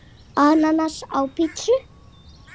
Ananas á pizzu?